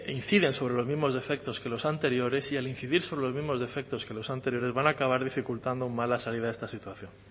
inciden sobre los mismos defectos que los anteriores y al incidir sobre los mismos defectos que los anteriores van a acabar dificultando aún más la salida de esta situación